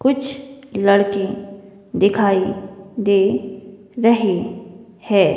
कुछ लड़के दिखाई दे रहे है।